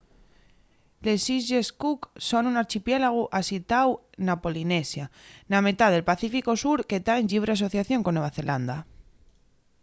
les islles cook son un archipiélagu asitiáu na polinesia na metá del pacíficu sur que ta en llibre asociación con nueva zelanda